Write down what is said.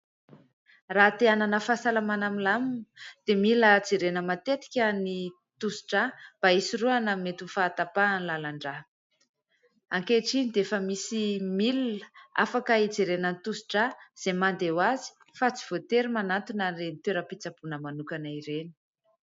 Raha te hanana fahasalamana milamina dia mila jerena matetika ny tositra drà mba hisoroana mety ho fahatapahan'ny lalan-drà. Ankehitriny dia efa misy milina afaka hijerena ny tositra drà izay mandeha hoazy fa tsy voatery manantona an'ireny toeram-pitsaboina manokana ireny.